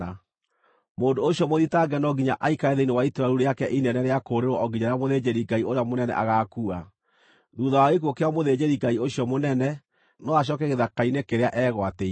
Mũndũ ũcio mũthitange no nginya aikare thĩinĩ wa itũũra rĩu rĩake inene rĩa kũũrĩrwo o nginya rĩrĩa mũthĩnjĩri-Ngai ũrĩa mũnene agaakua; thuutha wa gĩkuũ kĩa mũthĩnjĩri-Ngai ũcio mũnene, no acooke gĩthaka-inĩ kĩrĩa eegwatĩire.